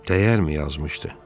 Dəyərmi yazmışdı?